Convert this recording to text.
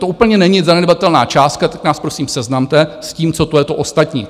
To úplně není zanedbatelná částka, tak nás, prosím, seznamte s tím, co to je, to Ostatní.